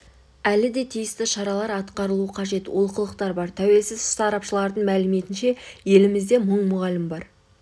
әлі де тиісті шаралар атқарылуы қажет олқылықтар бар тәуелсіз сарапшылардың мәліметінше елімізде мың мұғалім бар